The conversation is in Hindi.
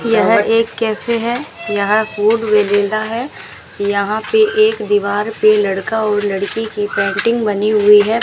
यह एक कैफे हैं यहां फूड विलेज है यहां पे एक दीवार पर लड़का और लड़की की पेंटिंग बनी हुई है।